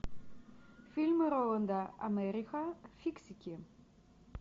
фильмы роланда эммериха фиксики